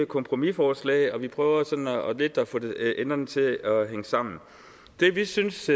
kompromisforslag og vi prøver sådan lidt at få enderne til at hænge sammen det vi synes